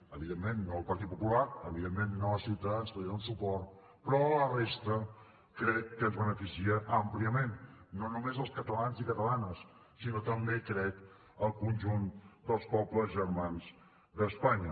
evidentment no al partit popular evidentment no a ciutadans que li dona suport però a la resta crec que ens beneficia àmpliament no només als catalans i catalanes sinó també crec al conjunt dels pobles germans d’espanya